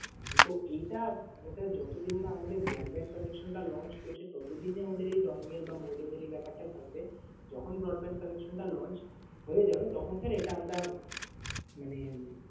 আর কিন্তু এইটা মানে sir যতদিন না আমাদের broadband connection টা launch করছে, ততদিন আমাদের এই dongel বা modem এর এই ব্যাপারটা থাকবে। যখন broadband connection টা launch হয়ে যাবে তখন sir এটা আমরা মানে উম